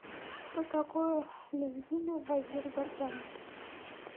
что такое лезгины в азербайджане